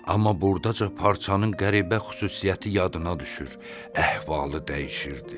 Amma burdaca parçanın qəribə xüsusiyyəti yadına düşür, əhvalı dəyişirdi.